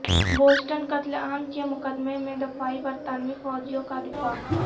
Boston قتل عام کے مقدمے میں دفاعی برطانوی فوجیوں کا دفاع